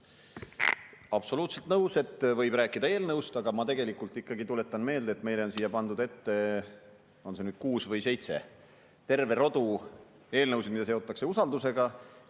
Absoluutselt nõus, et võib rääkida eelnõust, aga ma tuletan meelde, et meile on pandud ette – on neid nüüd kuus või seitse – terve rodu eelnõusid, mida seotakse usaldus.